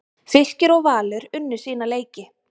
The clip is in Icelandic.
Fylkir og Valur unnu sína leiki